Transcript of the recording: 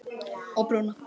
Og prjóna.